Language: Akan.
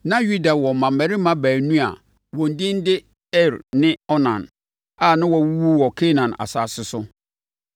Na Yuda wɔ mmammarima baanu a wɔn edin de Er ne Onan a na wɔawuwu wɔ Kanaan asase so.